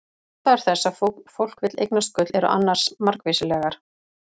Ástæður þess að fólk vill eignast gull eru annars margvíslegar.